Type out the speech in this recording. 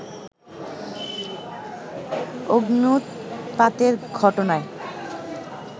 অগ্ন্যুৎপাতের ঘটনায়